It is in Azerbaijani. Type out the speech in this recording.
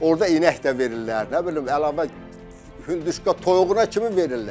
Orda inək də verirlər, nə bilim əlavə hündüşka toyuğuna kimi verirlər.